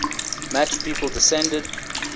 match people descended